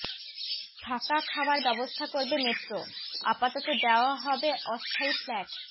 থাকা খাওয়ার ব্যবস্থা করবে মেট্রো আপাতত দেওয়া হবে অস্থায়ী ফ্ল্যাট